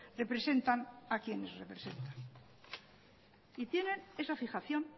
representan a quienes representan y tienen esa fijación